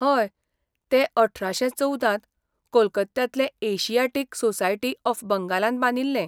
हय, तें अठराशे चवदांत कोलकात्यांतले एशियाटिक सोसायटी ऑफ बंगालान बांदिल्लें.